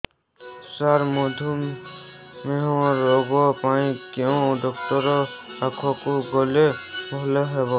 ସାର ମଧୁମେହ ରୋଗ ପାଇଁ କେଉଁ ଡକ୍ଟର ପାଖକୁ ଗଲେ ଭଲ ହେବ